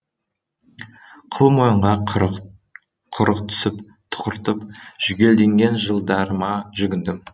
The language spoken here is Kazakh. қыл мойынға құрық түсіп тұқыртып жүгенделген жылдарыма жүгіндім